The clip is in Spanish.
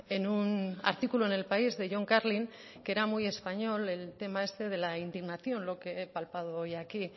en un artículo en el país de john carlin que era muy español el tema este de la indignación lo que he palpado hoy aquí